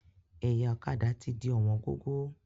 Ẹ̀yà ọ̀kadà ti di ọ̀wọ́n gógó.